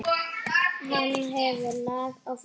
Hann hefur lag á fólki.